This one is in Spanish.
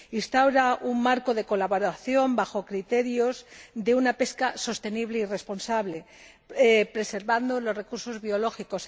Instaura un marco de colaboración bajo criterios de una pesca sostenible y responsable, preservando los recursos biológicos